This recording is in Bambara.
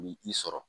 Ni i sɔrɔ